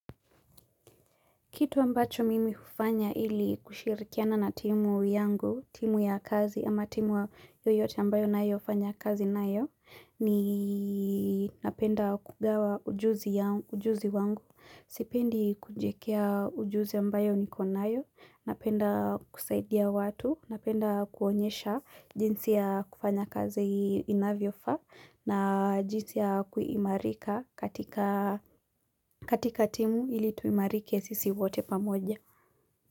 Kitu ambacho mimi hufanya ili kushirikiana na timu yangu, timu ya kazi ama timu yoyote ambayo nayo fanya kazi nayo, ni napenda kugawa ujuzi wangu, sipendi kujiekea ujuzi ambayo niko nayo, napenda kusaidia watu, napenda kuonyesha jinsi ya kufanya kazi inavyo faa na jinsi ya kuimarika katika katika timu ili tuimarike sisi wote pamoja.